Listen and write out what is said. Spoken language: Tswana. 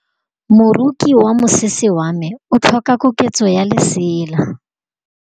Moroki wa mosese wa me o tlhoka koketsô ya lesela.